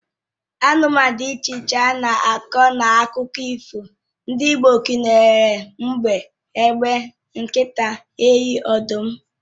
Anụmanụ dị iche iche a na-akọ n'akụkọ ifo ndị Igbo gụnyere mbe, egbe, nkịta, enyi, ọdụm, dgz